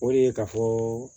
O de ye ka fɔ